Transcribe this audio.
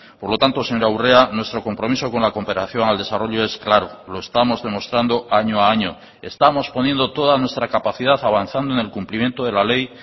por lo tanto señora urrea nuestro compromiso con la cooperación al desarrollo es claro lo estamos demostrando año a año estamos poniendo toda nuestra capacidad avanzando en el cumplimiento de la ley